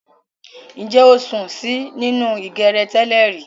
Ǹjẹ́ o sùn sí nínú ìgèrè tẹ́lẹ̀rí